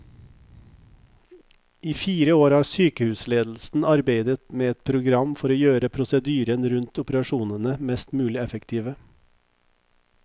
I fire år har sykehusledelsen arbeidet med et program for å gjøre prosedyrene rundt operasjonene mest mulig effektive.